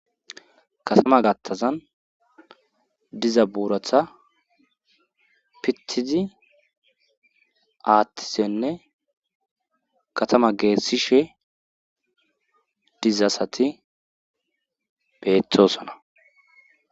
katama gattazan diza buuratha pittizi aaththisenne katama geessishe diza asati beettosona.